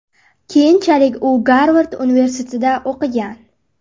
Keyinchalik u Garvard universitetida o‘qigan.